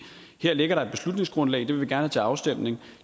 her ligger der et beslutningsgrundlag det vil have til afstemning